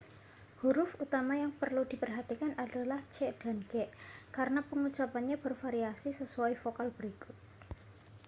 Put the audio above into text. huruf utama yang perlu diperhatikan adalah c dan g karena pengucapannya bervariasi sesuai vokal berikut